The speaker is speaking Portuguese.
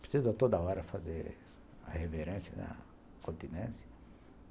Precisa toda hora fazer a reverência, né, a continência?